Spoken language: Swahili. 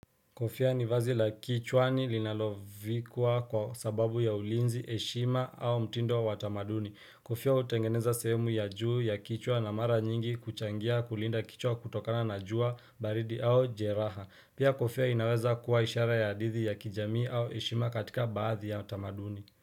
Kofia ni vazi la kichwani linalovikua kwa sababu ya ulinzi heshima au mtindo wa wa tamaduni. Kofia hutengeneza sehemu ya juu ya kichwa na mara nyingi kuchangia kulinda kichwa kutokana na jua baridi au jeraha. Pia kofia inaweza kuwa ishara ya hadithi ya kijamii au heshima katika baadhi ya tamaduni.